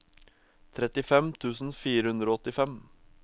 trettifem tusen fire hundre og åttifem